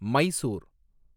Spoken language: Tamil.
மைசூர்